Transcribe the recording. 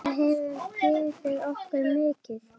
Það hefur gefið okkur mikið.